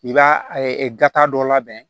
I b'a gata dɔ labɛn